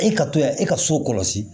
E ka to yan e ka so kɔlɔsi